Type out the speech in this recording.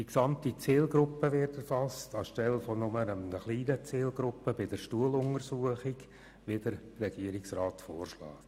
Die gesamte Zielgruppe wird erfasst, anstelle nur einer kleinen Zielgruppe bei der Stuhluntersuchung, wie sie der Regierungsrat vorschlägt.